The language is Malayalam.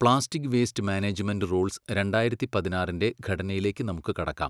പ്ലാസ്റ്റിക് വേയ്സ്റ്റ് മാനേജ്മെന്റ് റൂൾസ് രണ്ടായിരത്തി പതിനാറിൻ്റെ ഘടനയിലേക്ക് നമുക്ക് കടക്കാം.